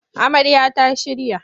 Amarya ta shirya